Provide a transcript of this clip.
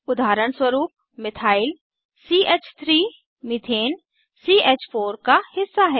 उदाहरणस्वरूप मिथाइल च3 मिथेन च4 का हिस्सा है